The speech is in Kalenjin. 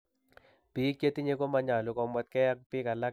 Biik chetinye komanyolu komwetkee ak biik alak eng' mianet netaa